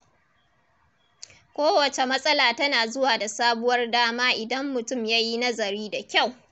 Kowacce matsala tana zuwa da sabuwar dama idan mutum ya yi nazari da kyau.